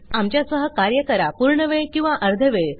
आमच्या सह कार्य करा पूर्ण वेळ किंवा अर्धवेळ